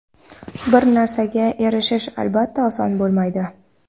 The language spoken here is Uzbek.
Bir narsaga erishish, albatta, oson bo‘lmaydi.